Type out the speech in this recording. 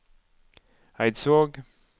Eidsvåg